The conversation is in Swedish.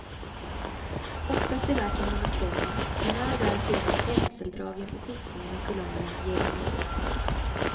Oftast är verken monokroma, men här och där ser man penseldragen och skiftningar i kulören ger dem liv.